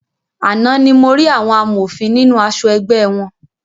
Àna ní mo rí àwọn amòfin nínú aṣọ ẹgbẹ́ wọn.